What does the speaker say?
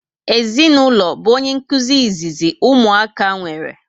Ezinụlọ bu onye nkụzi izizi ụmụaka nwere